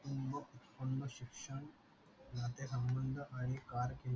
आणि करकीमांज